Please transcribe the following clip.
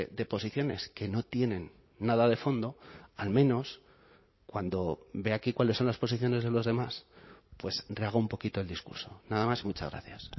de posiciones que no tienen nada de fondo al menos cuando vea aquí cuáles son las posiciones de los demás pues rehaga un poquito el discurso nada más y muchas gracias